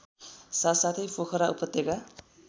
साथसाथै पोखरा उपत्यका